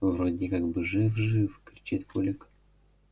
вроде как бы жив жив кричит кулик